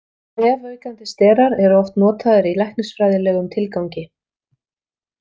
Vefaukandi sterar eru oft notaðir í læknisfræðilegum tilgangi.